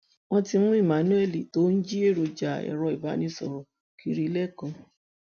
wọn ti mú emmanuel tó ń jí èròjà ẹrọ ìbánisọrọ kiri lẹkọọ